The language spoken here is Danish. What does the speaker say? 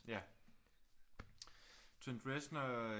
Ja Trent Reznor